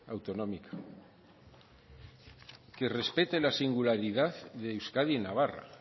autonómica que respete la singularidad de euskadi y navarra